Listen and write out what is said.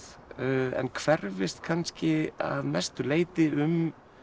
en hverfist kannski að mestu leyti um